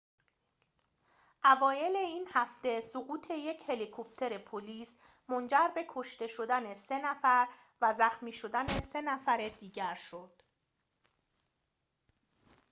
اوایل این هفته سقوط یک هلیکوپتر پلیس منجر به کشته شدن سه نفر و زخمی شدن سه نفر دیگر شد